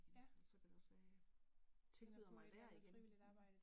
Men så kan det også være jeg tilbyder mig der igen